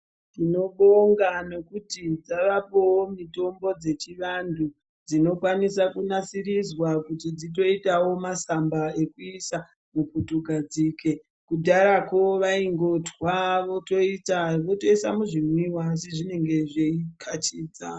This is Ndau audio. Tinobonga nekuti dzavapowo mitombo dzechivanthu dzinokwanisa kunasirizwa kuti dzitoitawo masamba ekuisa muputugadzike. Kudharako vaingotwa votoisa muzvimwiwa asi zvinenge zveikachidza.